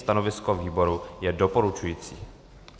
Stanovisko výboru je doporučující.